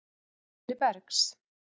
Guðni Bergs.